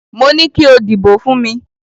Mo ní kí o dìbò fún mi.